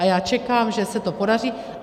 A já čekám, že se to podaří.